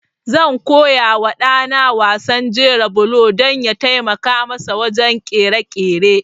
Zan koya wa ɗa na wasan jera bulo don ya taimaka masa wajen ƙirƙire-ƙirƙire.